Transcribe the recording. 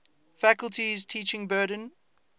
faculty's teaching burden